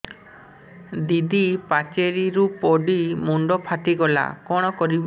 ଦିଦି ପାଚେରୀରୁ ପଡି ମୁଣ୍ଡ ଫାଟିଗଲା କଣ କରିବି